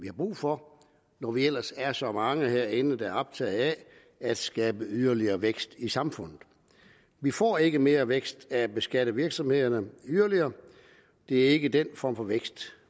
er brug for når vi ellers er så mange herinde der er optaget af at skabe yderligere vækst i samfundet vi får ikke mere vækst af at beskatte virksomhederne yderligere det er ikke den form for vækst